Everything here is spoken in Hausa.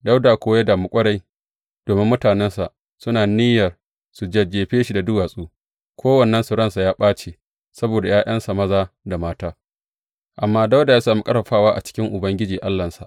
Dawuda kuwa ya damu ƙwarai domin mutanensa suna niyyar su jajjefe shi da duwatsu, kowannensu ransa ya ɓace saboda ’ya’yansa maza da mata, amma Dawuda ya sami ƙarfafawa a cikin Ubangiji Allahnsa.